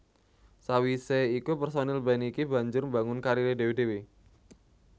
Sawisé iku personil band iki banjur mbangun kariré dhéwé dhéwé